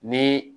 Ni